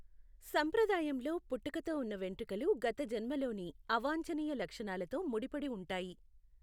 సంప్రదాయంలో, పుట్టుకతో ఉన్న వెంట్రుకలు గత జన్మలోని అవాంఛనీయ లక్షణాలతో ముడిపడి ఉంటాయి.